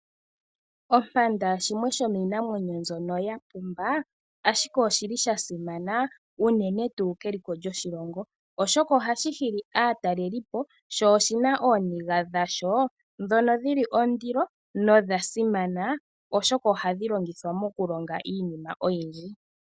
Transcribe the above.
Ompanda shimwe shomiinamwenyo mbyono ya pumba, ashike oshili shasimana unene tuu keliko lyoshilongo. Oshoka ohashi hili aatalelipo sho oshina ooniga dhasho ndhoka dhina ondilo nodhasimana oshoka ohadhi longithwa mokulonga iinima oyindji.